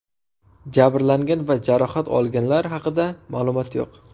Jabrlangan va jarohat olganlar haqida ma’lumot yo‘q.